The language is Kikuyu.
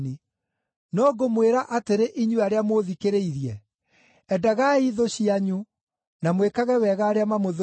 “No ngũmwĩra atĩrĩ inyuĩ arĩa mũũthikĩrĩirie: endagai thũ cianyu, na mwĩkage wega arĩa mamũthũire,